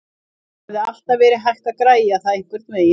Það hefði alltaf verið hægt að græja það einhvernveginn.